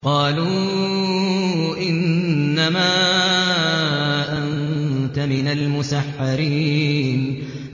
قَالُوا إِنَّمَا أَنتَ مِنَ الْمُسَحَّرِينَ